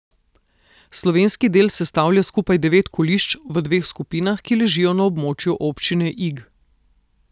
Slovenski del sestavlja skupaj devet kolišč v dveh skupinah, ki ležijo na območju občine Ig.